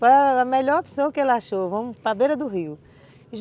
Foi a melhor opção que ele achou, vamos para a beira do rio.